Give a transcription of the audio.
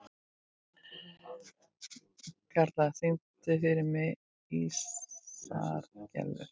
Karla, syngdu fyrir mig „Ísaðar Gellur“.